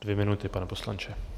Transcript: Dvě minuty, pane poslanče.